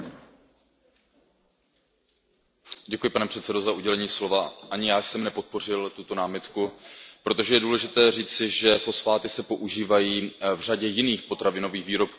Pane předsedající, ani já jsem nepodpořil tuto námitku, protože je důležité říci, že fosfáty se používají v řadě jiných potravinových výrobků, ať jsou to kolové nápoje nebo v cukrářském průmyslu.